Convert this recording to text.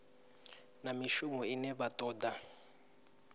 na mishumo ine vha toda